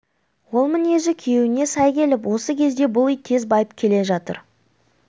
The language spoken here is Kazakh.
ол мінезі күйеуіне сай келіп осы кезде бұл үй тез байып келе жатыр